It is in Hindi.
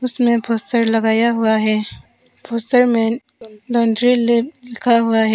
उसमे पोस्टर लगाया हुआ है । पोस्टर में लॉन्ड्री लैब लिखा हुआ है।